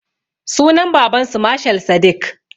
Sunan babansu mashal sadik